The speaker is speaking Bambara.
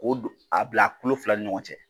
K'o don, a bila a kulo fila ni ɲɔgɔn cɛ.